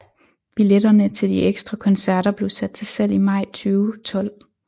Biletterne til de ekstra koncerter blev sat til salg i maj 2012